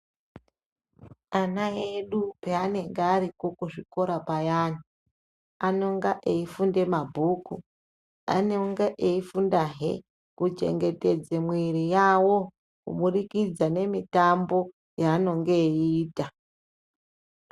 Ana edu panenge ariko kuzvikora payani anonga eifunde mabhuku , anonga eifunda hee kuchengetedza mwiri yawo kuburikidza nemitambo yaanonga eiita .